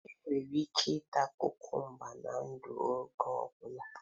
Enwere ike ita kukumba na-ndu n'oge ọ bụla.